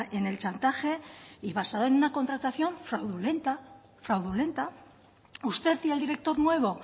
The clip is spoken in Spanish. en el chantaje y basado en una contratación fraudulenta fraudulenta usted y el director nuevo